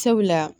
Sabula